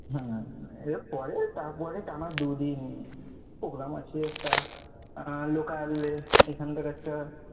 হ্যাঁ এরপরে তারপরে টানা দুদিন program আছে একটা আর local এ এখান থেকে একটা